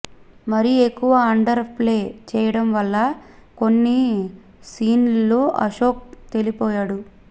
మరీ ఎక్కువ underplay చేయడం వల్ల కొన్ని సీన్స్లో అశోక్ తేలిపోయాడు